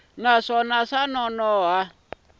naswona swa nonoha ku xi